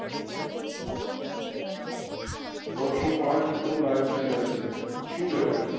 નવસો પાંચ મિત્રો લયવે થાયી ગયા છે સુ કહેવાય